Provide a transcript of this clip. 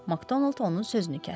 Makdonald onun sözünü kəsdi.